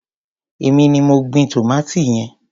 Èmi ni mo gbin tòmátì yẹn.